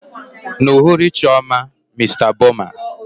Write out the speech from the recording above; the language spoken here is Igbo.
N'uhuruchi ọma, Mr Boma.